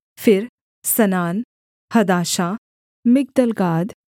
फिर सनान हदाशा मिगदलगाद